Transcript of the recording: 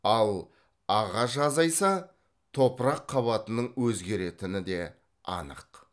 ал ағаш азайса топырақ қабатының өзгеретіні де анық